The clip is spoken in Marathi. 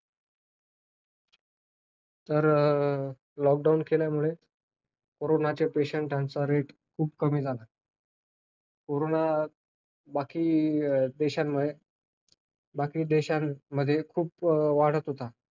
तर lockdown केल्यामुळे, कोरोना patients त्यांचा rate खूप कमी झाला. कोरोना बाकी देशांमध्ये, बाकी देशांमध्ये खूप वाढत होता.